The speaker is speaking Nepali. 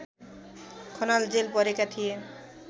खनाल जेल परेका थिए